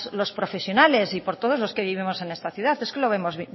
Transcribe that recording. los profesionales y por todos los que vivimos en esta ciudad es que lo vemos